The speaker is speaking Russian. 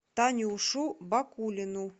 танюшу бакулину